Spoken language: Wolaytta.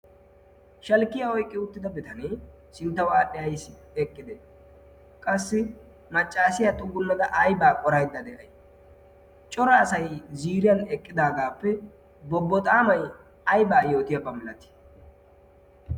shalkkiya oyqqi uttida bitanee sinttawaadhdhi ay eqqide qassi maccaasiyaa xuggunnada aibaa qoratdda de'ay cora asay ziriyan eqqidaagaappe bobbo xaamai aibaa yootiyaabaamilati